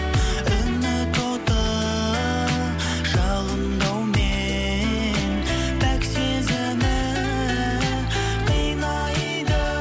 үміт оты жалындаумен пәк сезімі қинайды